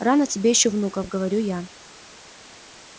рано тебе ещё внуков говорю я